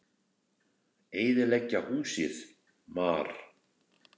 Eyðileggja húsið, mar!